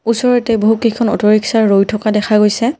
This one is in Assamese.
ওচৰতে বহুকেইখন অ'টো ৰিক্সা ৰৈ থকা দেখা গৈছে।